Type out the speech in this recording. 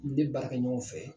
I de baarakɛ ɲɔgɔnw fɛ